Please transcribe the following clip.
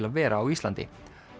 að vera á Íslandi